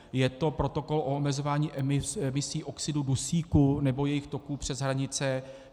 Je to protokol o omezování emisí oxidu dusíku nebo jejích toků přes hranice.